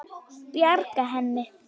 Bjarga henni?